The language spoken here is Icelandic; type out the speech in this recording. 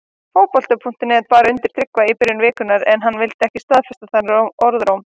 Fótbolti.net bar þetta undir Tryggva í byrjun vikunnar en hann vildi ekki staðfesta þennan orðróm.